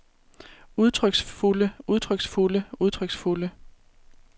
udtryksfulde udtryksfulde udtryksfulde